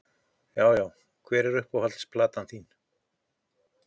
Já Já Hver er uppáhalds platan þín?